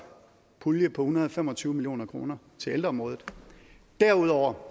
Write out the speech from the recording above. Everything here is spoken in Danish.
pulje på en hundrede og fem og tyve million kroner til ældreområdet derudover